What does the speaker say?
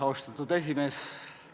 Austatud esimees!